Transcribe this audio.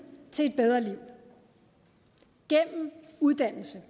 til et bedre liv gennem uddannelse